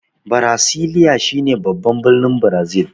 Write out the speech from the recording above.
Birasiliya shi ne baban birnin Brazil.